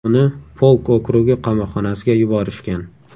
Uni Polk okrugi qamoqxonasiga yuborishgan.